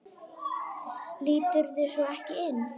Líturðu svo ekki inn?